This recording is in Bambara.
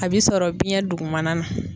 A bi sɔrɔ biyɛn dugumana na.